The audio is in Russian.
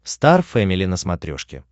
стар фэмили на смотрешке